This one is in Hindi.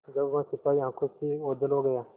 जब वह सिपाही आँखों से ओझल हो गया